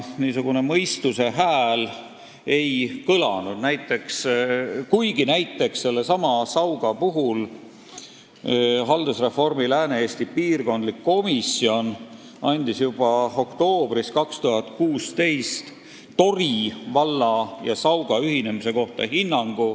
Mõistuse hääl ei kõlanud, kuigi näiteks Sauga puhul andis haldusreformi Lääne-Eesti piirkondlik komisjon juba oktoobris 2016 hinnangu Tori valla ja Sauga ühinemise kohta.